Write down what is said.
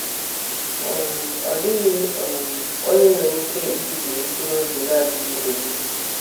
um Ọ dịghị um onye nwere ike ibibi mkpụrụ obi na-adịghị ebibi.